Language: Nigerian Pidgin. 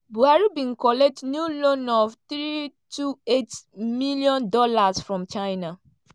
buhari bin collect new loan of 328 million dollars from china.